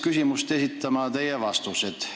Küsimust esitama ajendasid mind teie vastused.